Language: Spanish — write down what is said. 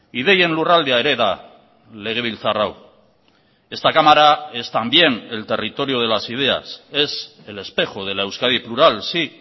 ideien lurraldea ere da legebiltzar hau esta cámara es también el territorio de las ideas es el espejo de la euskadi plural sí